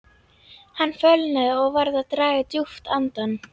Hann fölnaði og varð að draga djúpt andann.